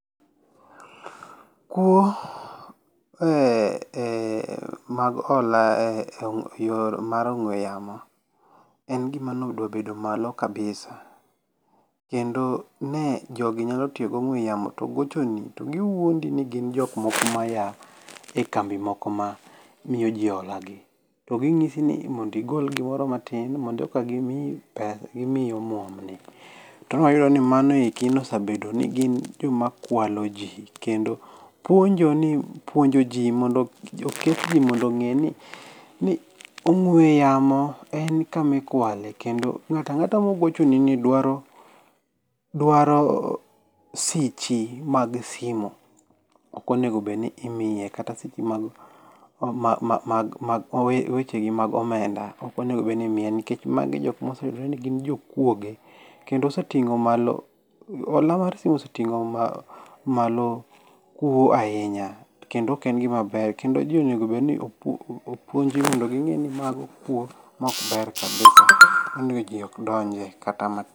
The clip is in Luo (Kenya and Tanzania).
Kwo eh mag hola eyor on g'ue yamo en gima ne odwa bed malo kabisa. Kendo ne jogi nyalo tiyo gi ong'ue yamo to giwuondi ni gia e kambi moko ma miyoji holagi. To ginyisi ni mondo igol gimoro matin mondo eka gimiyi pesa gimiyi omuom ni, to ne wayudo mano osebedo ni gin joma kwaloji. Kendo puonjo ni, puonjo ji mondo oket ji mondo ong'e ni ong'ue yamo en kama ikwale kendo ng'ato ang'ata mogochoni ni dwaro sichi mag sime ok onego bed ni imiye, mag wecheni mag omenda, ok onego bed ni imiye nikech mago e jok mose yudore ni gin jokuoge. Kendo hola mar simu oseting'o malo , hola mar simu oseting'o malo kuo ahinya kendo ok en gima ber kendo ji onego bed ni opuonji mondo ging'e ni mago kuo maok ber kabisa kendo onego ji kik donjie kata ma.